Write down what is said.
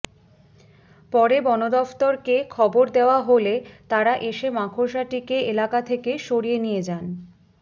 পরে বনদফতরকে খবর দেওয়া হলে তাঁরা এসে মাকড়সাটিকে এলাকা থেকে সরিয়ে নিয়ে যান